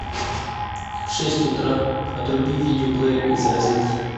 в шесть утра отруби видеоплеер из розетки